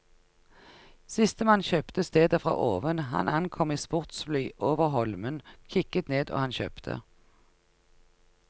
Sistemann kjøpte stedet fra oven, han ankom i sportsfly over holmen, kikket ned og han kjøpte.